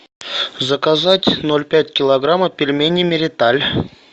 заказать ноль пять килограмма пельмени мириталь